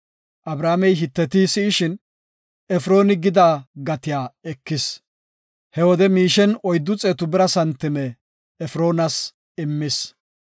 Abrahaamey Hiteti si7ishin, Efrooni gida gatiya ekis; he wode miishen oyddu xeetu bira santime Efroonas immis.